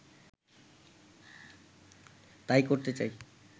তাই করতে চাই